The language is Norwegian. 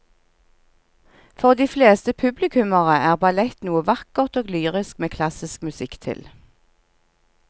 For de fleste publikummere er ballett noe vakkert og lyrisk med klassisk musikk til.